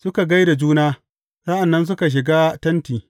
Suka gai da juna, sa’an nan suka shiga tenti.